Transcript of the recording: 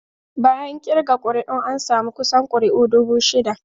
Bayan kirga kuri'un, an samu kusan kuri'u dubu shida.